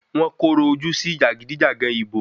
Wọ́n kòrò ojú sí jàgídíjàgan ìbò.